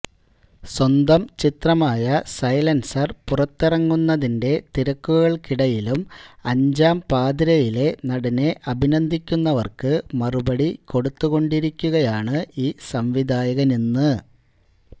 സ്വന്തം ചിത്രമായ സൈലൻസർ പുറത്തിറങ്ങുന്നതിന്റെ തിരക്കുകൾക്കിടയിലും അഞ്ചാം പാതിരയിലെ നടനെ അഭിനന്ദിക്കുന്നവർക്ക് മറുപടി കൊടുത്തുകൊണ്ടിരിക്കുകയാണ് ഈ സംവിധായകനിന്ന്